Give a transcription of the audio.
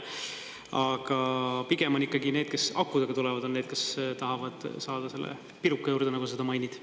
Aga pigem on ikkagi need, kes akudega tulevad, on need, kes tahavad saada selle piruka juurde, nagu sa seda mainid.